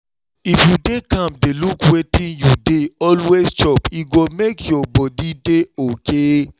if you dey calm down look wetin you dey always chop e go make your body dey okay